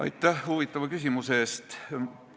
Aitäh huvitava küsimuse eest!